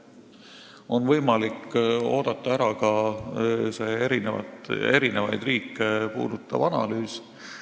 On võimalik oodata ära ka eri riike puudutav analüüs.